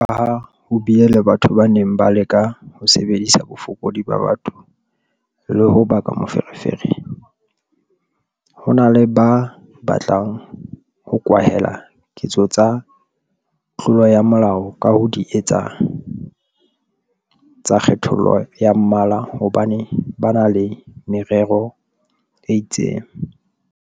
Jwalokaha ho bile le batho ba neng ba leka ho sebedisa bofokodi ba batho le ho baka meferefere, ho na le ba batlang ho kwahela ketso tsa tlolo ya molao ka ho di etsa tsa kgethollo ya mmala hobane ba na le merero e itseng.